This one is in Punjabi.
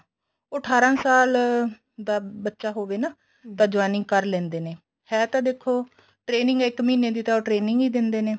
ਉਹ ਅਠਾਰਾ ਸਾਲ ਦਾ ਬੱਚਾ ਹੋਵੇ ਨਾ ਤਾਂ joining ਕਰ ਲੈਂਦੇ ਨੇ ਹੈ ਤਾਂ ਦੇਖੋ training ਇੱਕ ਮਹੀਨੇ ਦੀ ਤਾਂ ਉਹ training ਹੀ ਦਿੰਦੇ ਨੇ